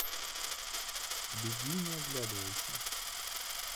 беги не оглядывайся